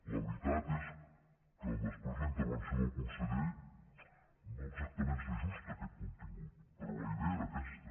la veritat és que després la intervenció del conseller no exactament s’ajusta a aquest contingut però la idea era aquesta